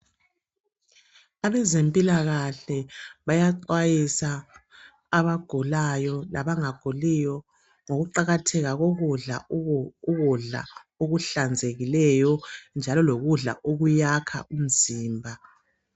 Abezempilakahle bayaxwayisa abagulayo labangaguliyo ngokuqakatheka kokudla ukudla okuhlanzekileyo njalo lokudla okuyakha umzimba.